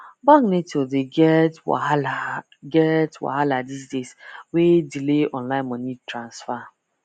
bank network dey get wahala get wahala these days wey delay online money transfer